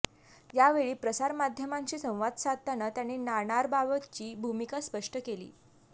यावेळी प्रसारमाध्यमांशी संवाद साधताना त्यांनी नाणारबाबतची भूमिका स्पष्ट केली